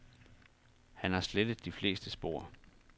Han har slettet de fleste spor.